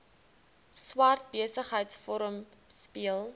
swart besigheidsforum speel